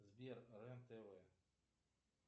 сбер рен тв